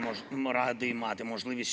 "Kallis Eesti rahvas!